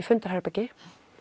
fundarherbergi